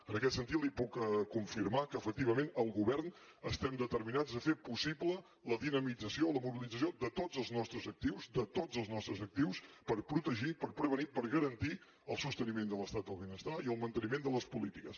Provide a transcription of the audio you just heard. en aquest sentit li puc confirmar que efectivament el govern estem determinats a fer possible la dinamització o la mobilització de tots els nostres actius de tots els nostres actius per protegir per prevenir per garantir el sosteniment de l’estat del benestar i el manteniment de les polítiques